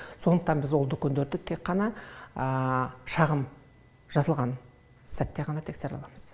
сондықтан біз ол дүкендерді тек қана шағым жазылған сәтте ғана тексере аламыз